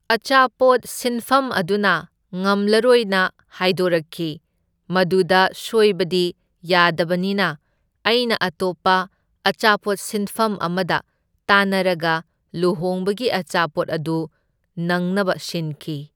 ꯑꯆꯥꯄꯣꯠ ꯁꯤꯟꯐꯝ ꯑꯗꯨꯅ ꯉꯝꯂꯔꯣꯏꯅ ꯍꯥꯏꯗꯣꯔꯛꯈꯤ, ꯃꯗꯨꯗ ꯁꯣꯏꯕꯗꯤ ꯌꯥꯗꯕꯅꯤꯅ ꯑꯩꯅ ꯑꯇꯣꯞꯄ ꯑꯆꯥꯄꯣꯠ ꯁꯤꯟꯐꯝ ꯑꯃꯗ ꯇꯥꯟꯅꯔꯒ ꯂꯨꯍꯣꯡꯕꯒꯤ ꯑꯆꯥꯄꯣꯠ ꯑꯗꯨ ꯅꯪꯅꯕ ꯁꯤꯟꯈꯤ